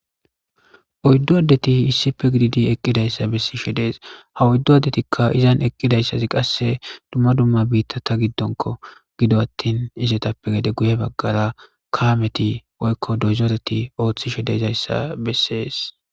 oyddu addeti issipe gidiidi eqqidayssa bessi shedees ha oyddu addetikka izan eqqidayssazi qasse dumma dumma biitta ta giddonko gido attin izetappe gede guye baggara kaameti woykko dozoreti ooththi shedezayssa bessees